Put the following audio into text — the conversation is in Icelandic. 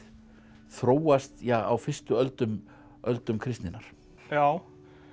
þróast á fyrstu öldum öldum kristninnar já